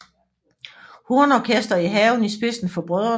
Hornorkester i haven i spidsen for brødrene